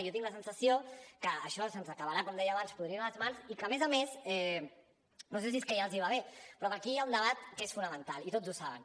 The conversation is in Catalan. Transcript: jo tinc la sensació que això se’ns acabarà com deia abans podrint a les mans i que a més a més no sé si és que ja els va bé però per aquí hi ha un debat que és fonamental i tots ho saben